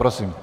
Prosím.